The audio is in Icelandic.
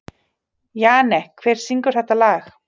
Jane, hver syngur þetta lag?